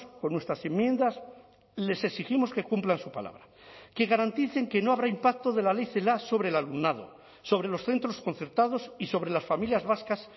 con nuestras enmiendas les exigimos que cumplan su palabra que garanticen que no habrá impacto de la ley celaá sobre el alumnado sobre los centros concertados y sobre las familias vascas